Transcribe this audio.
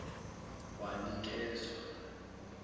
wanikezwa